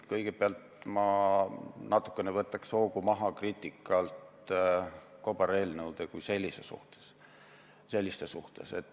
Kõigepealt võtaksin ma natukene hoogu maha kriitikalt kobareelnõude kui selliste kohta.